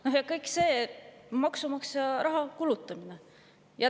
Kõik see on maksumaksja raha kulutamine.